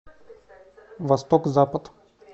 восток запад